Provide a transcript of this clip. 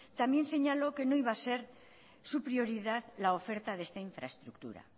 también señaló que no iba a ser su prioridad la oferta de esta infraestructura